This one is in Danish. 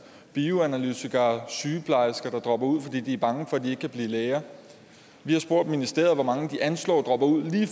bioanalytikere og sygeplejersker der dropper ud fordi de er bange for de ikke kan blive læger vi har spurgt ministeriet hvor mange de anslår dropper ud lige